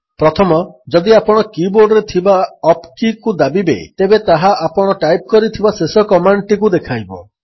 ପ୍ରଥମ ଯଦି ଆପଣ କୀ ବୋର୍ଡରେ ଥିବା ଅପ କୀକୁ ଦାବିବେ ତେବେ ତାହା ଆପଣ ଟାଇପ୍ କରିଥିବା ଶେଷ କମାଣ୍ଡଟିକୁ ଦେଖାଇବ